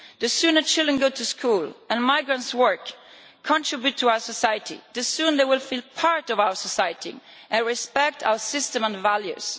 The sooner children go to school and migrants work and contribute to our society, the sooner they will feel part of our society and respect our system and values.